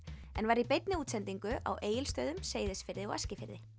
en var í beinni útsendingu á Egilsstöðum Seyðisfirði og Eskifirði